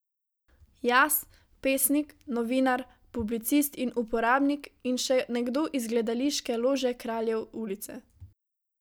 Jaz, pesnik, novinar, publicist in uporabnik in še nekdo iz gledališke lože Kraljev ulice.